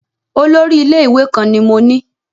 Olórí ilé-ìwé kan ni mo ní.